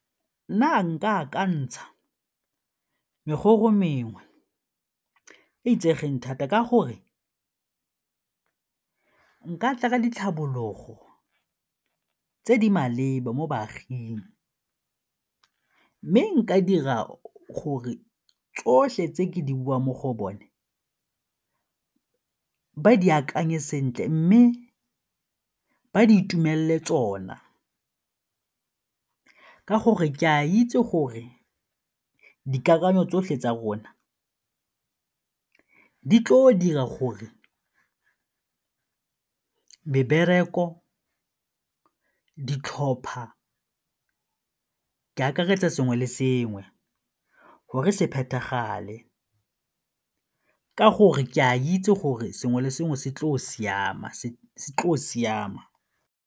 Nna nka akantsha merogo mengwe e itsegeng thata ka gore nka tla ka ditlhabologo tse di maleba mo baaging mme nka dira gore tsotlhe tse ke di buang mo go bone, ba di akanye sentle mme ba di itumelele tsona ka gore ke a itse gore dikakanyo tsotlhe tsa rona di tle go dira gore mebereko, ditlhopha, ke akaretsa sengwe le sengwe gore se phethagale ka gore ke a itse gore sengwe le sengwe se tle go siama.